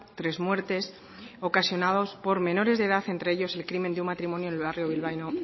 tres muertes ocasionados por menores de edad entre ellos el crimen de un matrimonio en el barrio bilbaíno